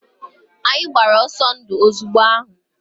Anyị gbapụrụ ọsọ ndu ozugbo ahụ.